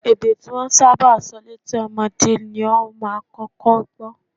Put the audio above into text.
Èdè tí wọ́n bá ń sábà sọ létí ọmọdé ni ó máa kọ́kọ́ gbọ́